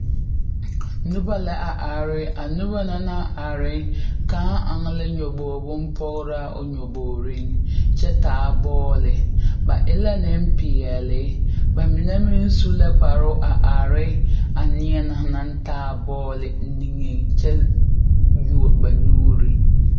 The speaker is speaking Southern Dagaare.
Noba la a are a noba na naŋ are kaŋ eŋ la nyɔge bonpɔgraa o nyɔbogreŋ kyɛ taa bɔɔli ba e la nenpeɛle ba mine meŋ su la kparoŋ a are a neɛ na naŋ taa a bɔɔli nigeŋ kyɛ yuo ba nuure.